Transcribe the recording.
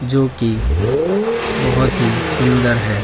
जोकि बहोत ही सुंदर है।